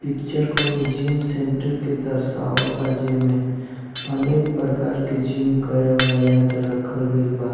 picture कोनो gym centre के देखवात बा जेमे अनेक प्रकार के जिम करेवाला बा--